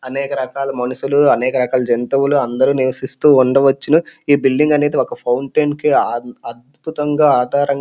అనేక రకాల మనుషులు అనేక రకాల జంతువులు అందరూ నివసిస్తూ ఉండవచ్చును. ఈ బిల్డింగ్ అనేది ఒక ఫౌంటెన్ కి ఆ-అద్భుతంగా ఆధారంగా --